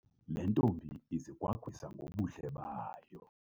Le ntombi izigwagwisa ngobuhle bayo.